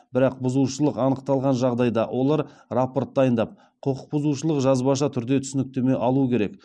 бірақ бұзушылық анықталған жағдайда олар рапорт дайындап құқық бұзушылық жазбаша түрде түсініктеме алуы керек